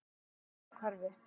Funahvarfi